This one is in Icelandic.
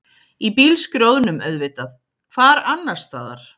Í bílskrjóðnum auðvitað, hvar annarstaðar?